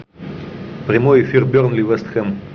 прямой эфир бернли вест хэм